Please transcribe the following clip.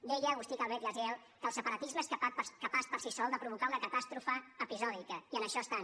deia agustí calvet gaziel que el separatisme és capaç per si sol de provocar una catàstrofe episòdica i en això estan